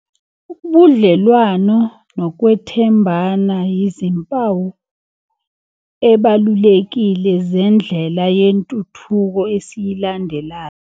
Ubudlelwano nokwethembana yizimpawu ebalulekile zendlela yentuthuko esiyilandelayo.